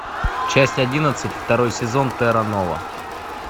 часть одиннадцать второй сезон терра нова